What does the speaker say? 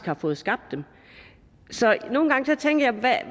har fået skabt dem nogle gange tænker